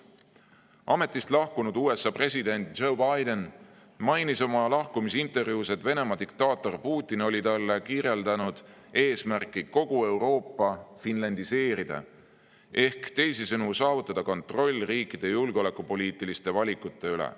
Ametist lahkunud USA president Joe Biden mainis oma lahkumisintervjuus, et Venemaa diktaator Putin oli talle kirjeldanud eesmärki kogu Euroopa finlandiseerida ehk teisisõnu saavutada kontroll riikide julgeolekupoliitiliste valikute üle.